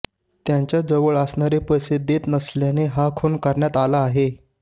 त्यांच्या जवळ असणारे पैसे देत नसल्याने हा खून करण्यात आला आहे